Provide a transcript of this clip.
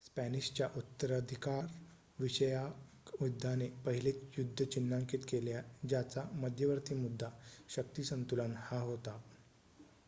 स्पॅनिशच्या उत्तराधिकार विषयक युद्धाने पहिले युद्ध चिन्हांकित केले ज्याचा मध्यवर्ती मुद्दा शक्ती संतुलन हा होता